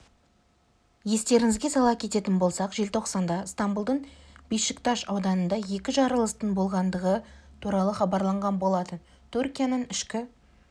естеріңізге сала кететін болсақ желтоқсанда стамбұлдың бешикташ ауданында екі жарылыстың болғандығы туралы хабарланған болатын түркияның ішкі